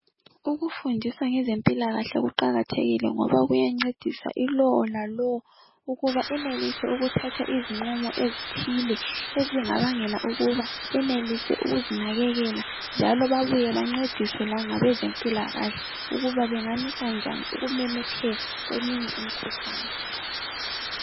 Ukufundisa ngezempilakahle kuqakathekile ngoba kuyancedisa ilowo lalowo ukuthi enelise ukuthatha izinqumo ezithile ezingabangela ukuba benelise ukuzinakekela njalo babuye bencediswe langabezempilakahle ukuthi bangamisa njani ukumemetheka kweminye imikhuhlane.